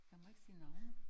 Man må ikke sige navne